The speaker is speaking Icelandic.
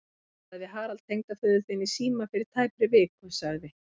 Ég talaði við Harald tengdaföður þinn í síma fyrir tæpri viku sagði